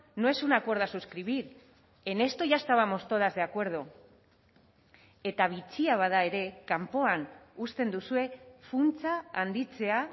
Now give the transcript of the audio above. no es un acuerdo a suscribir en esto ya estábamos todas de acuerdo eta bitxia bada ere kanpoan uzten duzue funtsa handitzea